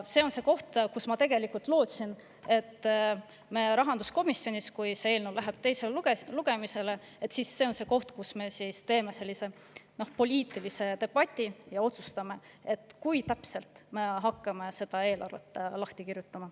See on tegelikult see koht, kus ma lootsin, et kui see eelnõu läheb teisele lugemisele, siis me teeme rahanduskomisjonis poliitilise debati ja otsustame, kui täpselt me hakkame eelarvet lahti kirjutama.